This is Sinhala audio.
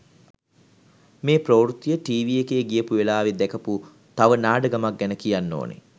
මේ ප්‍රවෘත්තිය ටීවී එකේ ගියපු වෙලාවේ දැකපු තව නාඩගමක් ගැන කියන්න ඕනි.